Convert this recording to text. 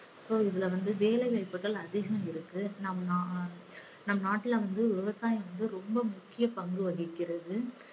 so இதுல வந்து வேலை வாய்ப்புகள் அதிகம் இருக்கு. நம் நா~ நம் நாட்டில வந்து விவசாயம் வந்து மிக முக்கிய பங்கு வகிக்கிறது.